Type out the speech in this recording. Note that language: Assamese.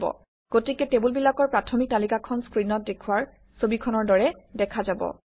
গতিকে টেবুলবিলাকৰ প্ৰাথমিক তালিকাখন স্ক্ৰীনত দেখুওৱা ছবিখনৰ দৰে দেখা যাব